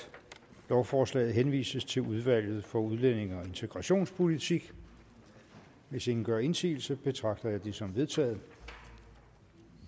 lovforslaget henvises til udvalget for udlændinge og integrationspolitik hvis ingen gør indsigelse betragter jeg det som vedtaget